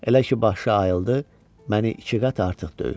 Elə ki, başı ayıldı, məni iki qat artıq döyür.